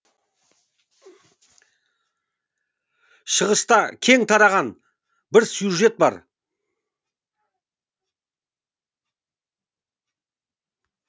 шығыста кең тараған бір сюжет бар